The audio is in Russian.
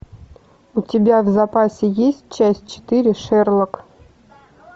у тебя в запасе есть часть четыре шерлок